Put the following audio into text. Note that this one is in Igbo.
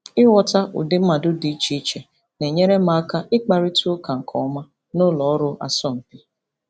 Ịghọta ụdị mmadụ dị iche iche na-enyere m aka ịkparịta ụka nke ọma na ụlọ ọrụ asọmpi.